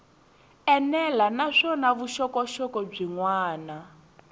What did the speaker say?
enela naswona vuxokoxoko byin wana